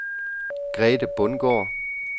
Grethe Bundgaard